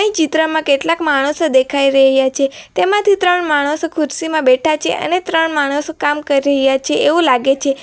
ચિત્રમાં કેટલાક માણસો દેખાઈ રહ્યા છે તેમાંથી ત્રણ માણસો ખુરશીમાં બેઠા છે અને ત્રણ માણસો કામ કરી રહ્યા છે એવું લાગે છે.